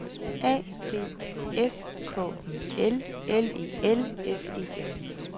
A D S K I L L E L S E N